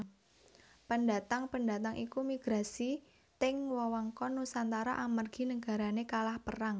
Pendatang pendatang iku migrasi teng wewengkon Nusantara amargi nagarane kalah perang